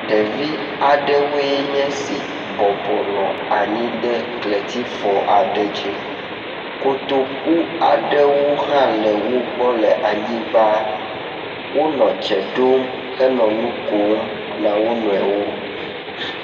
Ɖevi aɖewoe nye si bɔbɔnɔ anyi ɖe kletifɔ aɖe dzi, kotokuaɖewo hã le ogbɔ le anyigba, wonɔ dze dom henɔ nukom na wo nɔewo